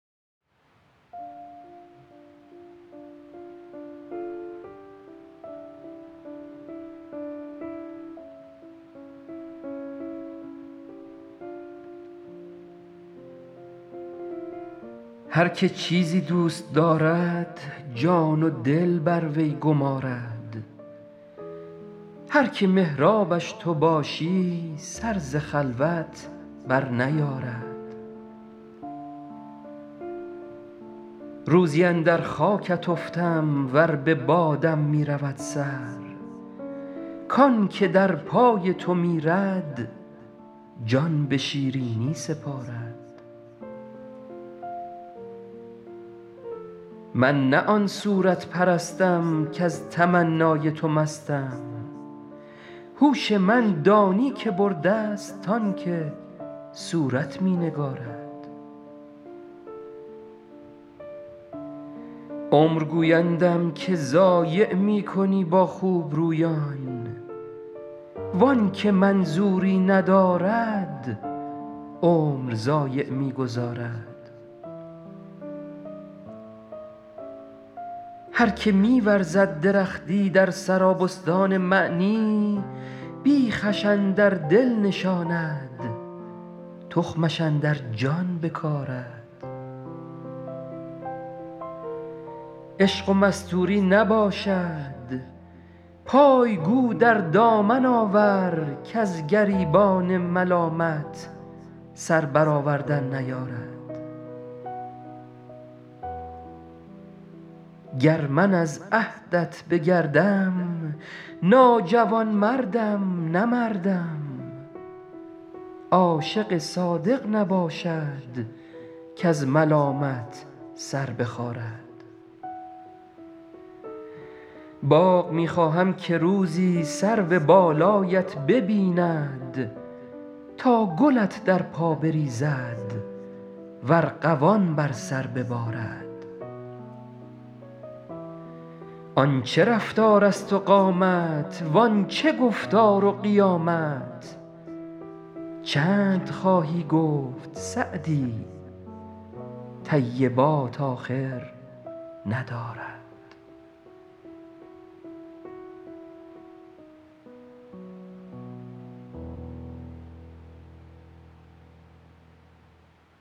هر که چیزی دوست دارد جان و دل بر وی گمارد هر که محرابش تو باشی سر ز خلوت برنیارد روزی اندر خاکت افتم ور به بادم می رود سر کان که در پای تو میرد جان به شیرینی سپارد من نه آن صورت پرستم کز تمنای تو مستم هوش من دانی که برده ست آن که صورت می نگارد عمر گویندم که ضایع می کنی با خوبرویان وان که منظوری ندارد عمر ضایع می گذارد هر که می ورزد درختی در سرابستان معنی بیخش اندر دل نشاند تخمش اندر جان بکارد عشق و مستوری نباشد پای گو در دامن آور کز گریبان ملامت سر برآوردن نیارد گر من از عهدت بگردم ناجوانمردم نه مردم عاشق صادق نباشد کز ملامت سر بخارد باغ می خواهم که روزی سرو بالایت ببیند تا گلت در پا بریزد و ارغوان بر سر ببارد آن چه رفتارست و قامت وان چه گفتار و قیامت چند خواهی گفت سعدی طیبات آخر ندارد